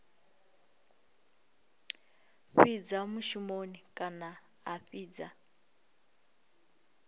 fhidza mushumoni kana a fhidza